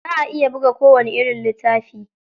Za a iya buga kowani irin littafi.